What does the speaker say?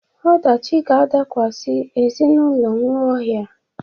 Ọdachi ga-adakwasị ezinụlọ Nwaohia.